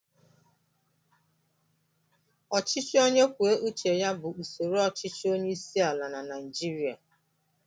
Ọchịchị onye kwuo uche ya bụ usoro ọchịchị onyeisiala na Naịjirịa